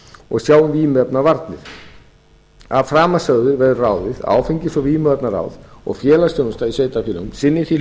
og sjái um vímuefnavarnir af framansögðu verður ráðið að áfengis og vímuvarnaráð og félagsþjónusta í sveitarfélögum sinni því